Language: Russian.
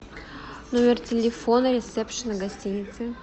номер телефона ресепшена гостиницы